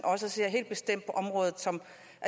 ser helt bestemt området som